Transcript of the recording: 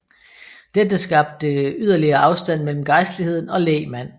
Dette skabte yderligere afstand mellem gejstligheden og lægmand